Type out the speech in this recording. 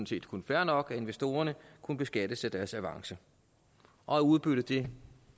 set kun fair nok at investorerne kun beskattes af deres avance og udbyttet